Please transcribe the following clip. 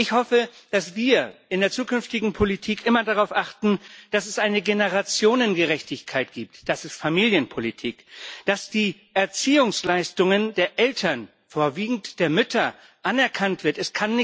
Ich hoffe, dass wir in der zukünftigen Politik immer darauf achten, dass es eine Generationengerechtigkeit gibt das ist Familienpolitik dass die Erziehungsleistungen der Eltern, vorwiegend der Mütter, anerkannt werden.